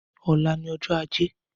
Ọlà ni ọjọ àjé